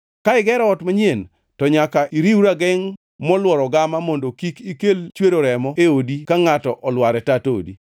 Ka igero ot manyien, to nyaka iriw ragengʼ molworo gama mondo kik ikel chwero remo e odi ka ngʼato olwar e tat odi.